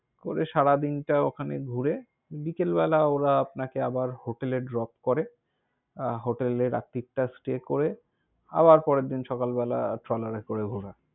করে সারাদিনটা ওখানে ঘুরে, বিকেলবেলা ওঁরা আপনাকে আবার hotel এ drop করে। হোটেলে রাত্রিতা stay করে, আবার পরের দিন সকালবেলা ট্রলার এ করে ঘোরা।